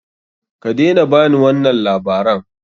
Kadaina ba ni wannan labaran!